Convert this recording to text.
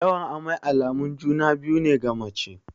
Yawan amai alamun juna-biyu ne ga mace.